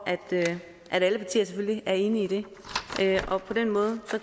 at alle partier selvfølgelig er enige i det på den måde